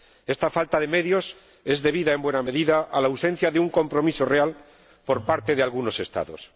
Esta falta de medios se debe, en buena medida, a la ausencia de un compromiso real por parte de algunos Estados.